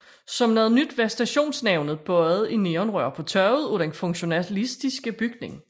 Som noget nyt var stationsnavnet bøjet i neonrør på taget af den funktionalistiske bygning